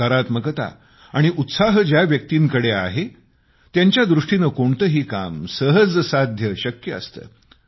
सकारात्मकता आणि उत्साह ज्या व्यक्तींकडे आहे त्यांच्या दृष्टीने कोणतेही काम सहज साध्य शक्य असते